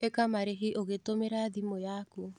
ĩka marĩhi ũgĩtũmĩra thimũ yaku.